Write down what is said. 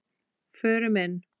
Förum inn.